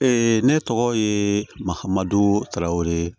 ne tɔgɔ ye mahamadu tarawele